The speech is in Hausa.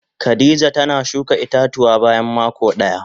Khadijah tana shuka ita-tuwa bayan mako daya.